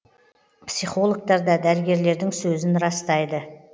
психологтар да дәрігерлердің сөзін растайды